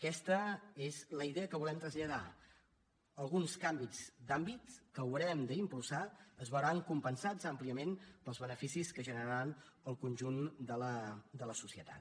aquesta és la idea que volem traslladar alguns canvis d’hàbits que haurem d’impulsar es veuran compensats àmpliament pels beneficis que generaran al conjunt de la societat